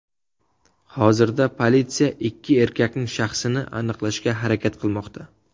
Hozirda politsiya ikki erkakning shaxsini aniqlashga harakat qilmoqda.